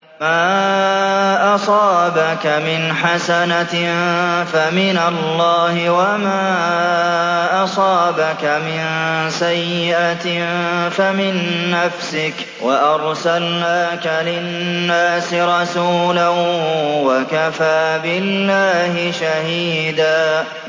مَّا أَصَابَكَ مِنْ حَسَنَةٍ فَمِنَ اللَّهِ ۖ وَمَا أَصَابَكَ مِن سَيِّئَةٍ فَمِن نَّفْسِكَ ۚ وَأَرْسَلْنَاكَ لِلنَّاسِ رَسُولًا ۚ وَكَفَىٰ بِاللَّهِ شَهِيدًا